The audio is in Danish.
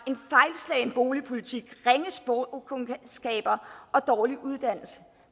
en fejlslagen boligpolitik ringe sprogkundskaber og dårlig uddannelse